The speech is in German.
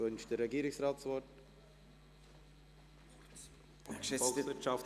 Wünscht der Regierungsrat das Wort?